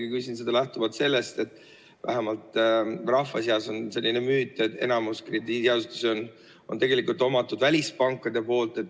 Ma küsin seda eelkõige lähtuvalt sellest, et vähemalt rahva seas on selline müüt, et enamik krediidiasutusi on tegelikult välispankade omad.